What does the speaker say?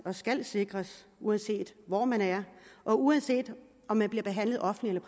skal sikres uanset hvor man er og uanset om man bliver behandlet offentligt